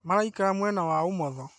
Maraikara mwena wa ũmotho